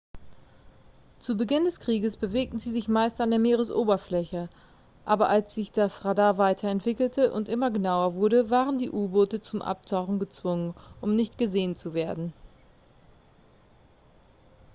zu beginn des krieges bewegten sie sich meist an der meeresoberfläche aber als sich das radar weiterentwickelte und immer genauer wurde waren die u-boote zum abtauchen gezwungen um nicht gesehen zu werden